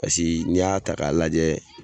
Pasiki n'i y'a ta k'a lajɛ